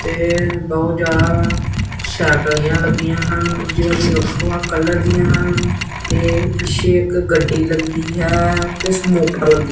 ਤੇ ਬਹੁਤ ਜਿਆਦਾ ਸਾਈਕਲੀਆਂ ਲੱਗੀਆਂ ਹਨ ਜੋ ਵੀ ਵੱਖੋ ਵੱਖ ਕਲਰ ਦੀਆਂ ਹਨ ਤੇ ਪਿੱਛੇ ਇੱਕ ਗੱਡੀ ਲੱਗੀ ਹੈ। ਤੇ---